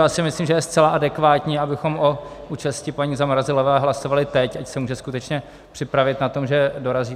Já si myslím, že je zcela adekvátní, abychom o účasti paní Zamrazilové hlasovali teď, ať se může skutečně připravit na to, že dorazí.